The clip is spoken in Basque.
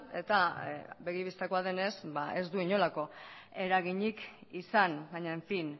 eta begi bistakoa denez ez du inolako eraginik izan baina en fin